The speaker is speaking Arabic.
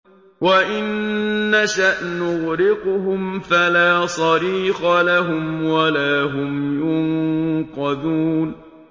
وَإِن نَّشَأْ نُغْرِقْهُمْ فَلَا صَرِيخَ لَهُمْ وَلَا هُمْ يُنقَذُونَ